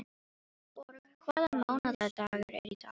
Borg, hvaða mánaðardagur er í dag?